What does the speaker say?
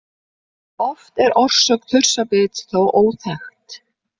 Oft er orsök þursabits þó óþekkt.